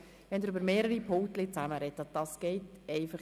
Es geht nicht, dass Sie über mehrere Pulte miteinander sprechen;